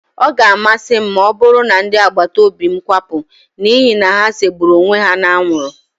Ọ ga-amasị m ma ọbụrụ na ndị agbataóbị́ m kwapụ n'ihi na ha segburu onwe ha n'anwụrụ